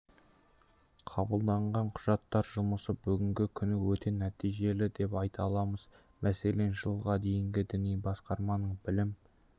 қабылданған құжаттар жұмысы бүгінгі күні өте нәтижелі деп айта аламыз мәселен жылға дейінгі діни басқарманың білім